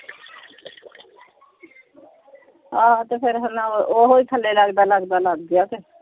ਆਹੋ ਤੇ ਫੇਰ ਹਣਾ ਓਹੀ ਥੱਲੇ ਲੱਗਦਾ ਲੱਗਦਾ ਲੱਗ ਗਿਆ ਕੇ।